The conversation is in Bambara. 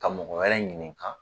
Ka mɔgɔ wɛrɛ ɲininka